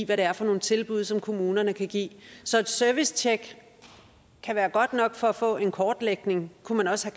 hvad det er for nogle tilbud som kommunerne kan give så et servicetjek kan være godt nok for at få en kortlægning kunne man også